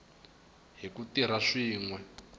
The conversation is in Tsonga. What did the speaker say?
hi ku tirha swin we